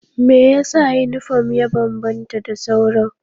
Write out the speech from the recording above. Me yasa yunifom ya bambanta da sauran?